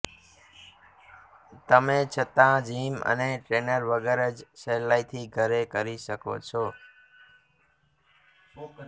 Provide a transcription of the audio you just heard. તમે છતા જિમ અને ટ્રેનર વગર જ સહેલાઈથી ઘરે કરી શકો છો